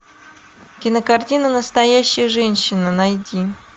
кинокартина настоящая женщина найти